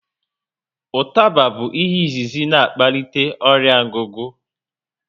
Ụtaba bụ ihe izizi na akpalite ọrịa ngugu